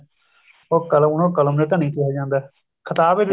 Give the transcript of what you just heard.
ਉਹ ਕ਼ਲਮ ਉਹਨਾ ਨੂੰ ਕਲਮ ਦੇ ਧਨੀ ਕਿਹਾ ਜਾਂਦਾ ਖਿਤਾਬ ਏ